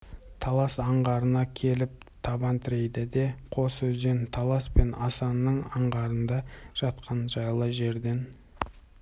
талас аңғарына келіп табан тірейді де қос өзен талас пен асаның аңғарында жатқан жайлы жерден